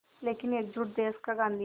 लेकिन एकजुट देश का गांधी